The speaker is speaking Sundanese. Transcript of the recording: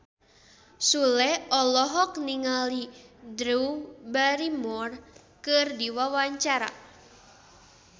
Sule olohok ningali Drew Barrymore keur diwawancara